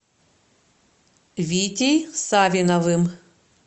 витей савиновым